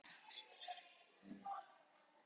Hagræddi slaufu sem hafði gengið úr skorðum.